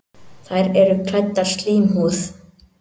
Þær eru klæddar slímhúð.